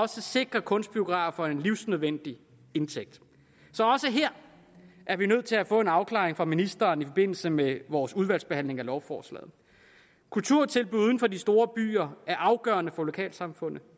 sikrer kunstbiografer en livsnødvendig indtægt så også her er vi nødt til at få en afklaring fra ministeren i forbindelse med vores udvalgsbehandling af lovforslaget kulturtilbud uden for de store byer er afgørende for lokalsamfundene og